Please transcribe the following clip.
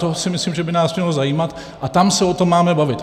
To si myslím, že by nás mělo zajímat, a tam se o tom máme bavit.